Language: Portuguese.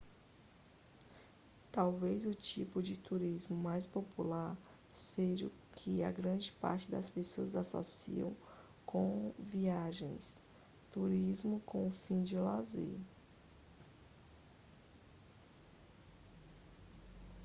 talvez o tipo de turismo mais popular seja o que a grande parte das pessoas associa comviagens turismo com o fim de lazer